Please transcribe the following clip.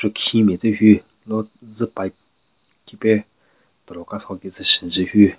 Khin matse hyu lo zu pipe khipe tero ka so ki tsü shu njun hyu.